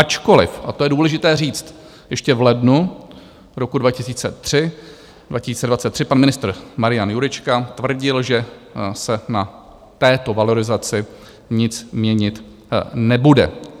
Ačkoliv, a to je důležité říct, ještě v lednu roku 2023 pan ministr Marian Jurečka tvrdil, že se na této valorizaci nic měnit nebude.